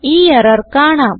ഈ എറർ കാണാം